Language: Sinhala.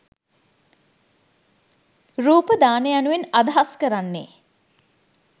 රූප දාන යනුවෙන් අදහස් කරන්නේ